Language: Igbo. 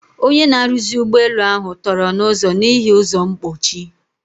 Ọnye na-arụzi ụgbọ elu ahu tọrọ na ụzo n'ihi ụzọ mkpochi.